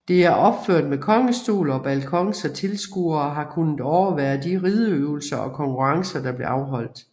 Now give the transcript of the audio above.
Det er opført med kongestol og balkon så tilskuerede har kunnet overvære de rideøvelser og konkurrencer der blev afholdt